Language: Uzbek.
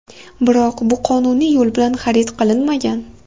Biroq bu qonuniy yo‘l bilan xarid qilinmagan.